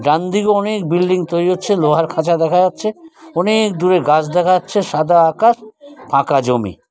ডানদিকে অনেক বিল্ডিং তৈরি হচ্ছে লোহার খাঁচা দেখা যাচ্ছে। অনেক দূরে গাছ দেখা যাচ্ছে সাদা আকাশ ফাঁকা জমি।